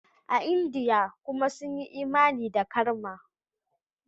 A Indiya kuma sun yi imani da karma.